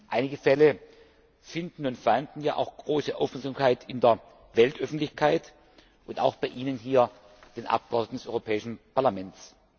Einige Fälle finden und fanden ja auch große Aufmerksamkeit in der Weltöffentlichkeit und auch bei Ihnen hier, den Abgeordneten des Europäischen Parlaments.